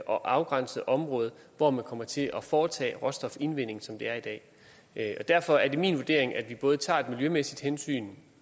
og afgrænset område hvor man kommer til at foretage råstofindvinding som det er i dag derfor er det min vurdering at vi både tager et miljømæssigt hensyn